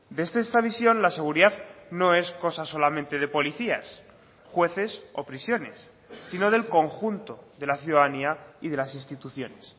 desde esta visión la seguridad no es cosa solamente de policías jueces o prisiones sino del conjunto de la ciudadanía y de las instituciones